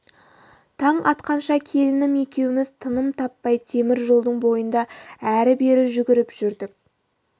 таң атқанша келінім екеуміз тыным таппай темір жолдың бойында әрі-бері жүгіріп жүрдік